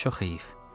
Çox heyf.